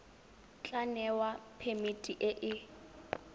tla newa phemiti e e